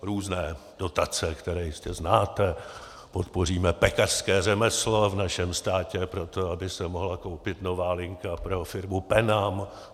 Různé dotace, které jistě znáte - podpoříme pekařské řemeslo v našem státě proto, aby se mohla koupit nová linka pro firmu PENAM.